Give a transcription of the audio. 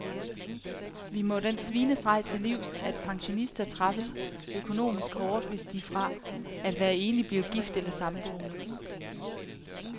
Vi må den svinestreg til livs, at pensionister straffes økonomisk hårdt, hvis de fra at være enlig bliver gift eller samboende.